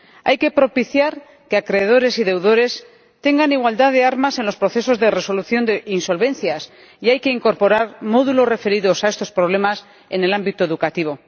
Hay que propiciar que acreedores y deudores tengan igualdad de armas en los procesos de resolución de insolvencias y hay que incorporar módulos referidos a estos problemas en el ámbito educativo.